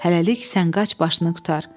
Hələlik sən qaç başını qurtar.